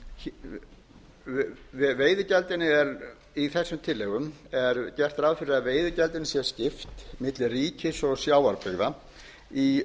í þessum tillögum er gert ráð fyrir að veiðigjaldinu sé skipt milli ríkis og sjávarbyggða í